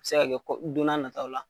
A bɛ se ka kɛ don n'a nataaw la.